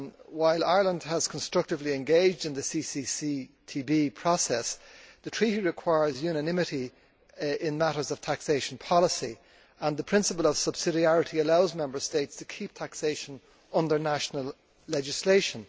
While Ireland has constructively engaged in the CCCTB process, the Treaty requires unanimity in matters of taxation policy, and the principle of subsidiarity allows Member States to keep taxation under national legislation.